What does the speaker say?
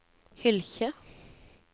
Hylkje